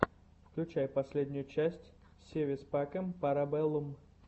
включай последнюю часть си вис пакэм пара бэллум